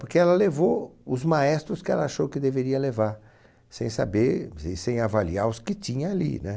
Porque ela levou os maestros que ela achou que deveria levar, sem saber e em avaliar os que tinha ali, né?